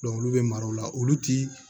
olu bɛ mara o la olu ti